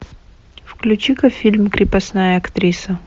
включи ка фильм крепостная актриса